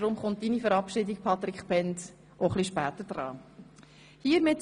Deshalb kommt deine Verabschiedung, Patric Bhend, auch ein wenig später an die Reihe.